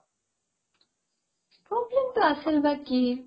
problem টো আছিল বা কি ?